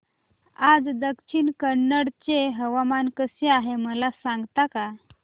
आज दक्षिण कन्नड चे हवामान कसे आहे मला सांगता का